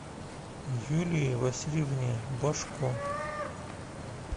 юлии васильевне божко